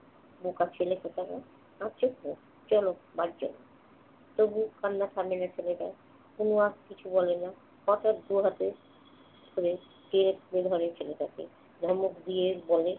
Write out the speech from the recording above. বোকা ছেলে কোথাকার। কাঁদছ কেন? চল বাড়ি চল। তবু কান্না থামে না ছেলেটার। তনু আর কিছু বলে না। হঠাৎ দু হাতে ধরে ছেলেটিকে। ধমক দিয়ে বলে